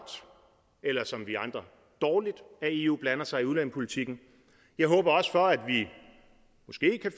eller som vi andre dårligt at eu blander sig i udlændingepolitikken jeg håber at